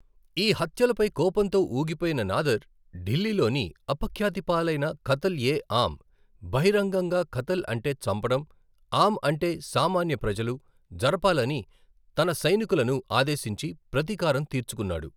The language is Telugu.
ఈ హత్యలపై కోపంతో ఊగిపోయిన నాదర్, ఢిల్లీలోని అపఖ్యాతి పాలైన ఖత్ల్ ఎ ఆమ్, బహిరంగంగా ఖత్ల్ అంటే చంపడం, ఆమ్ అంటే సామాన్య ప్రజలు, జరపాలని తన సైనికులను ఆదేశించి ప్రతీకారం తీర్చుకున్నాడు.